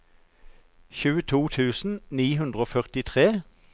tjueto tusen ni hundre og førtitre